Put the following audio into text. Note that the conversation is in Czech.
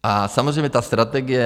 A samozřejmě ta strategie.